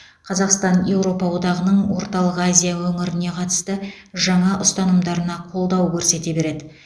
қазақстан еуропа одағының орталық азия өңіріне қатысты жаңа ұстанымдарына қолдау көрсете береді